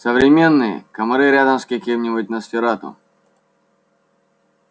современные комары рядом с каким-нибудь носферату